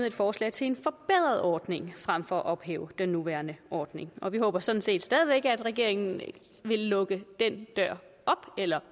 et forslag til en forbedret ordning frem for at ophæve den nuværende ordning og vi håber sådan set stadig væk at regeringen igen vil lukke den dør op eller